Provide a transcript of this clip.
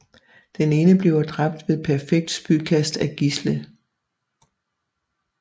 Den ene bliver dræbt ved perfekt spydkast af Gisle